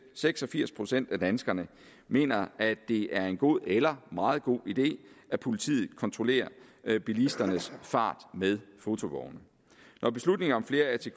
seks og firs procent af danskerne mener at det er en god eller meget god idé at politiet kontrollerer bilisternes fart med fotovogne når beslutningen om flere atk